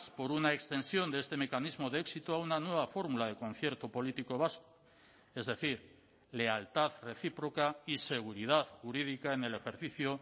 por una extensión de este mecanismo de éxito a una nueva fórmula de concierto político vasco es decir lealtad recíproca y seguridad jurídica en el ejercicio